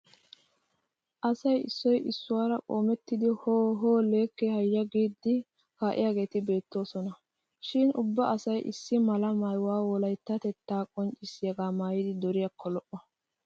Asay issoy issuwaara qoometti "hoo hoo leekke hayya"giidi kaaiyaageeti beettoosona. Shin ubba asay is mala maayuwaa wolayttatettaa qonccissiyagaa maayidi duriyakko lo'o.